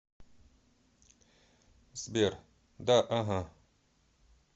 сбер да ага